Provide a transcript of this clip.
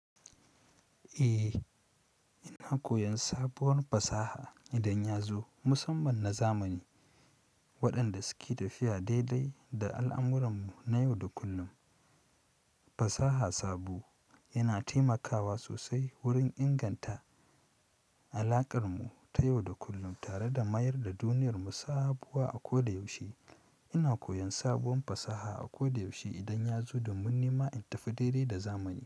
Eh, ina koyon sabuwar fasaha idan yazo, musamman na zamani. Waɗanda suke tafiya daidai da al'amuranmu na yau da kullum. Fasaha sabo yana taimakawa sosai wurin inganta alaƙar mu ta yau da kullum tare da mayar da duniyar mu sabuwa a koda yaushe. Ina koyon sabuwar fasaha a koda yaushe idan ya zo domin nima in tafi daidai da zamani.